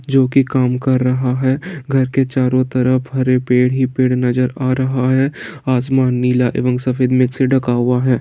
जो कि काम कर रहा है घर के चारों तरफ हरे पेड़ ही पेड़ नजर आ रहा है | आसमान नीला एवं सफेद मिक्स से ढका हुआ है।